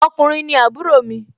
ọkùnrin ni àbúrò mi